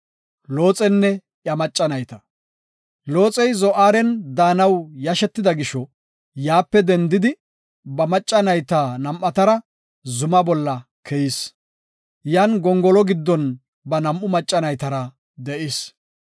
Looxey Zo7aaren daanaw yashetida gisho, yaape dendidi ba macca nayta nam7atara zuma bolla keyis. Yan gongolo giddon ba nam7u macca naytara de7is.